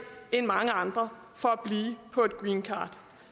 end mange andre for at blive på et greencard